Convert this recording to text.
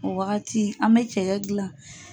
O wagati an mɛ cɛkɛ gilan.